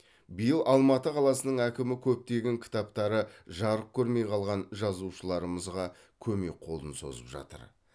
биыл алматы қаласының әкімі көптеген кітаптары жарық көрмей қалған жазушылармызға көмек қолын созып жатыр